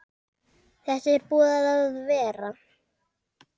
Þetta er búið að vera.